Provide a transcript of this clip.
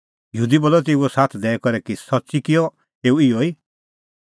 यहूदी बी बोलअ तेऊओ साथ दैई करै कि सच्च़ी किअ एऊ इहअ ई